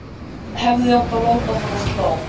Hefði átt að láta hana slá.